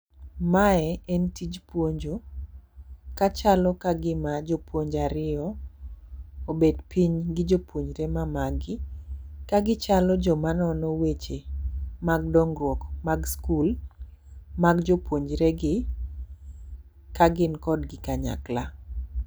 Mae en tij puonjo ka chalo kagima jopuonje ariyo, obet piny gi jopunjre ma magi. Kagichalo joma nono weche mag dongruok mag skul mag jopupnjre gi ka gin kodgi kanyakla.